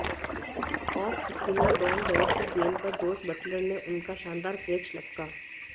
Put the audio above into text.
of spinner Dom Bess की गेंद पर जोस बटलर ने उनका शानदार कैच लपका